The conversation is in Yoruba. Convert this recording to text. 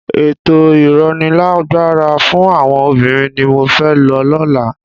Ètò ìrónilágbára fún àwọn obìnrin ni mo fẹ́ lọ lọ́la.